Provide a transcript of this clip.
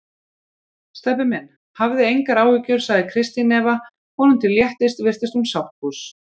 Stebbi minn, hafði engar áhyggjur sagði Kristín Eva og honum til léttis virtist hún sáttfús.